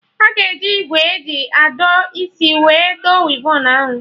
Aga eji ìgwè eji adọ isi wee dọ wivon ahụ